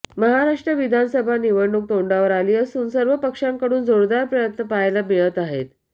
महाराष्ट्र विधानसभा निवडणूक तोंडावर आली असून सर्व पक्षांकडून जोरदार प्रयत्न पाहायला मिळत आहेत